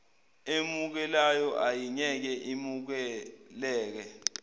emukelayo ayingeke imukeleke